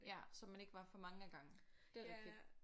Ja så man ikke var for mange ad gangen. Det er rigtigt